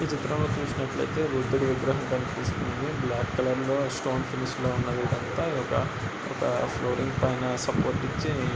ఈ చితంలో చూసినట్లయితే బుద్దుడి విగ్రహం కనిపిస్తుంది . బ్లాక్ కలర్ లో స్టోన్ ఫినిష్ లో ఉన్న ఇదంతా ఒక ఒక పైన సపోర్ట్ ఇచ్చి--